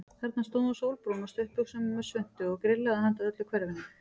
Þarna stóð hún sólbrún á stuttbuxum og með svuntu og grillaði handa öllu hverfinu.